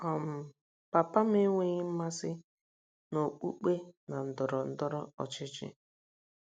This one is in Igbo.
um Papa m enweghị mmasị n’okpukpe na ndọrọ ndọrọ ọchịchị.